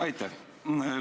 Aitäh!